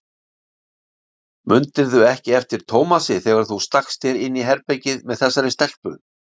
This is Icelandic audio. Mundirðu ekki eftir Tómasi þegar þú stakkst þér inn í herbergið með þessari stelpu?